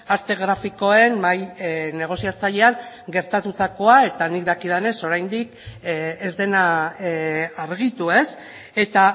arte grafikoen mahai negoziatzailean gertatutakoa eta nik dakidanez oraindik ez dena argitu eta